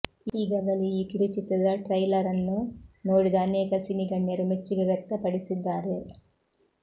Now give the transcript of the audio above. ಈಗಾಗಲೇ ಈ ಕಿರುಚಿತ್ರದ ಟ್ರೈಲರ್ ಅನ್ನು ನೋಡಿದ ಅನೇಕ ಸಿನಿಗಣ್ಯರು ಮೆಚ್ಚುಗೆ ವ್ಯಕ್ತ ಪಡಿಸಿದ್ದಾರೆ